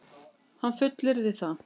Hann fullyrðir það